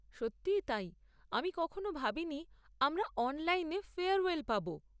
সত্যিই তাই, আমি কখনো ভাবিনি আমরা অনলাইনে ফেয়ারওয়েল পাব।